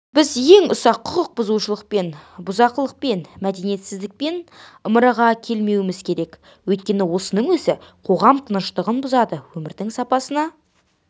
біз ең ұсақ құқық бұзушылықпен бұзақылықпен мәдениетсіздікпен ымыраға келмеуіміз керек өйткені осының өзі қоғам тыныштығын бұзады өмірдің сапасына